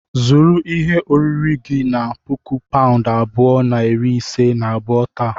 Zụrụ ihe oriri gị na puku paụnd abụọ na iri ise na abụọ taa.